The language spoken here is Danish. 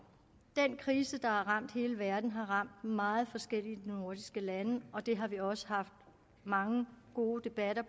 den krise der har ramt hele verden har ramt meget forskelligt i nordiske lande og det har vi også haft mange gode debatter